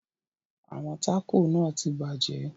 Àwọn taco náà tí bàjẹ́.